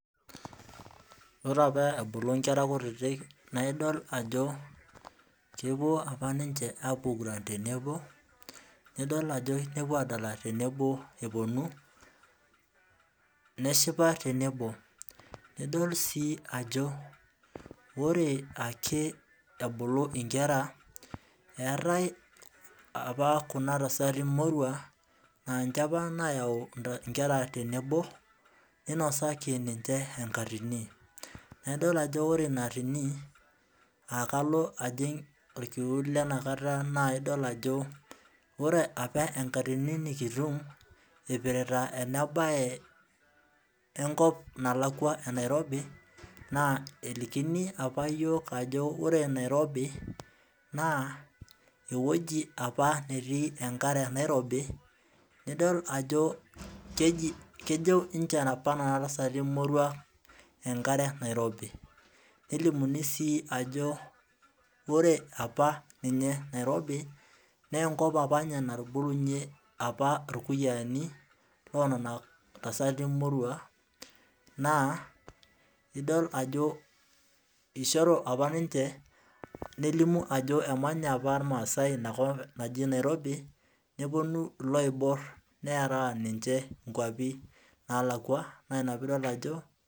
Ore apa ebulu nkera kutitik naa idol ajo, kepuo apa ninche aapuo aiguran tenebo. nidol ajo keyieu nepuo aadala tenebo epuonu, neshipa tenebo. nidol sii ajo ore ake ebulu, inkera. eetae apa Kuna tasati moruak. naa ninche apa naayau, nkera tenebo. ninosaki ninche enkayioni. naa idol ajo ore Ina atini, aa kalo ajing olkiu, le na kata naa idol ajo, ore apa enkatini nikitum, eipirta ena bae. Enkop nalakua enairobu. naa nelikini apa iyiook ajo ore nairobi. ewuaji apa netii enkare Nairobi. nidol ajo kejo apa ninche Nena tasati moruak enkare nairobi. nelimuni sii ajo, ore apa ninye Nairobi naa enkop apa natubulunye aapa irkuyiaani. naa idol ajo ishori apa ninche emanya apa ilmaasae Ina kop naji nairobi. nepuonu iloiboor nera ninche